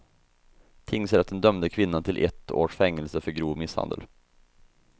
Tingsrätten dömde kvinnan till ett års fängelse för grov misshandel.